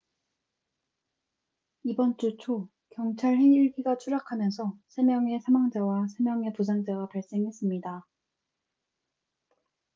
이번 주 초 경찰 헬기가 추락하면서 세 명의 사망자와 세 명의 부상자가 발생했습니다